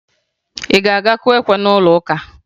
Ị ga-akụ ekwe na'ụlọụka?